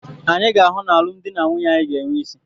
Anyị ga-ahụ na alụmdi na nwunye anyị ga-enwe isí.